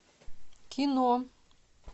кино